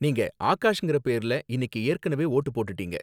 நீங்க ஆகாஷ்ங்கற பேர்ல இன்னிக்கு ஏற்கனவே வோட்டு போட்டுட்டீங்க